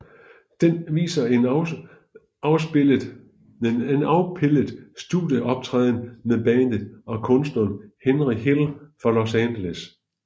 Den viser en afpildet studieoptræden med bandet og kunstneren Henry Hill fra Los Angeles